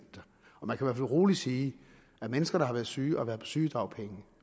fald rolig sige at mennesker der har været syge og har været på sygedagpenge